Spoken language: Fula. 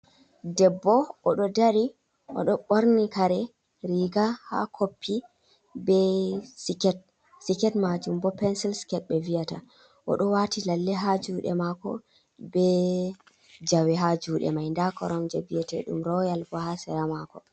Debbo o ɗo dari, o ɗo ɓorni kare, riga haa koppi be siket, seket maajum bo pensil siket ɓe vi’ata, o ɗo waati lalle haa juuɗe maako, be jawe haa juuɗe mai, nda koromje bi'eteɗum royal sheya bo haa sera maako.